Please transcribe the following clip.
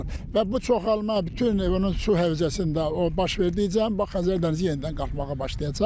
Və bu çoxalma bütün onun su hövzəsində baş verdikcə, bax Xəzər dənizi yenidən qalxmağa başlayacaq.